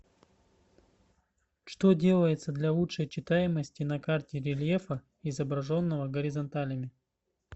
что делается для лучшей читаемости на карте рельефа изображенного горизонталями